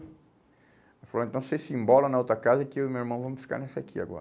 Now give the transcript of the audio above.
Ele falou, então você se embola na outra casa que eu e meu irmão vamos ficar nessa aqui agora.